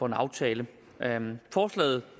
en aftale forslaget